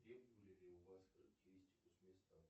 требовали ли у вас характеристику с места